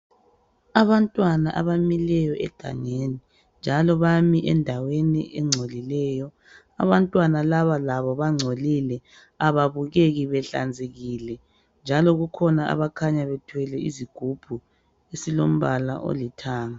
Abantwana abamileyo egangeni, njalo bami endaweni engcolileyo. Abantwana laba labo bangcolile. Kababukeki behlanzekile, njalo kukhona abakhanya bethwele izigubhu, esilombala olithanga.